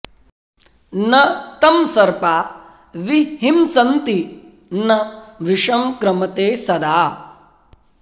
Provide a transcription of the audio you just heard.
न तं सर्पा विहिंसन्ति न विषं क्रमते सदा